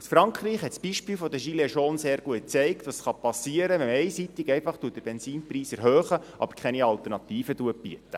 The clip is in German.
Das Beispiel der Gilets Jaunes aus Frankreich hat sehr gut gezeigt, was passieren kann, wenn man einseitig einfach den Benzinpreis erhöht, aber keine Alternativen bietet.